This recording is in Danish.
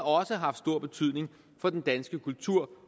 også haft stor betydning for den danske kultur